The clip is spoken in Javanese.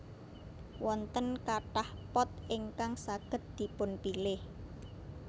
Wonten kathah pot ingkang saged dipunpilih